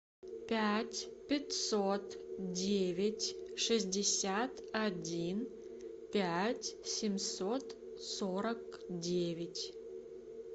пять пятьсот девять шестьдесят один пять семьсот сорок девять